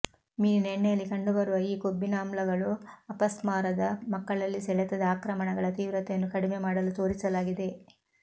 ಮೀನಿನ ಎಣ್ಣೆಯಲ್ಲಿ ಕಂಡುಬರುವ ಈ ಕೊಬ್ಬಿನಾಮ್ಲಗಳು ಅಪಸ್ಮಾರದ ಮಕ್ಕಳಲ್ಲಿ ಸೆಳೆತದ ಆಕ್ರಮಣಗಳ ತೀವ್ರತೆಯನ್ನು ಕಡಿಮೆ ಮಾಡಲು ತೋರಿಸಲಾಗಿದೆ